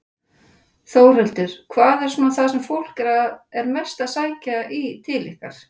Þórhildur: Hvað er svona það sem fólk er mest að sækja í til ykkar?